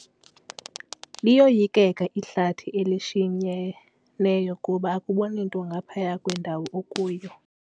Liyoyikeka ihlathi elishinyeneyo kuba akuboni nto ngaphaya kwendawo okuyo.